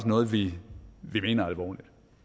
noget vi mener alvorligt